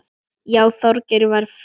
Já, Þorgeir var frekur.